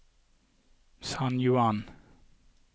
San Juan